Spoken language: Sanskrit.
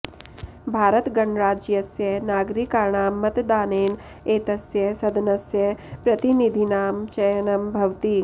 भारतगणराज्यस्य नागरिकाणां मतदानेन एतस्य सदनस्य प्रतिनिधीनां चयनं भवति